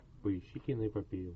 поищи киноэпопею